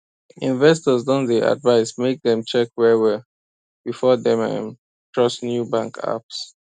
investors don dey advise make dem check well well before dem um trust new bank apps